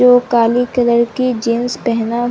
जो काली कलर की जीन्स पहना--